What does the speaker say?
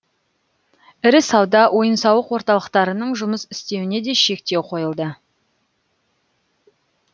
ірі сауда ойын сауық орталықтарының жұмыс істеуіне де шектеу қойылды